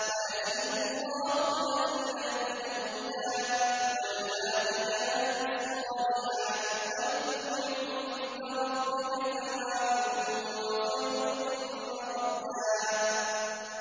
وَيَزِيدُ اللَّهُ الَّذِينَ اهْتَدَوْا هُدًى ۗ وَالْبَاقِيَاتُ الصَّالِحَاتُ خَيْرٌ عِندَ رَبِّكَ ثَوَابًا وَخَيْرٌ مَّرَدًّا